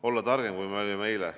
Olla targem, kui me olime eile.